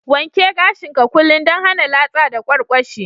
Wanke gashin ka kullum dan hana latsa da kwarkwashi.